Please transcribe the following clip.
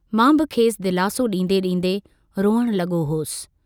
मां बि खेसि दिलासो डीन्दे-डीन्दे रुअण लगो हुअस।